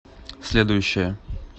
следующая